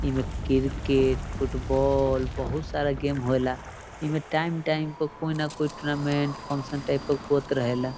इमें cricket football बहतु सारा गेम होएला इमें टाइम टाइम प कोई ना कोई टूर्नामेंट फंक्शन टाइप के होत रहेला।